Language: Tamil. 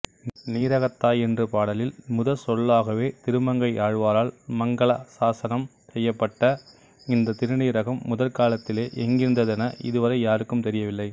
நீரகத்தாய் என்று பாடலில் முதற்சொல்லாகவே திருமங்கையாழ்வாரால் மங்களாசாசனம் செய்யப்பட்ட இந்த திருநீரகம் முற்காலத்திலே எங்கிருந்ததென இதுவரை யாருக்கும் தெரியவில்லை